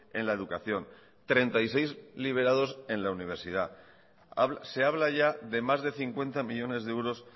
en la educación treinta y seis liberados en la universidad se habla ya de más de cincuenta millónes de euros